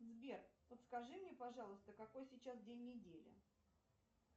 сбер подскажи мне пожалуйста какой сейчас день недели